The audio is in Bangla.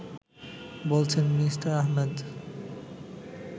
বলছেন মি: আহমেদ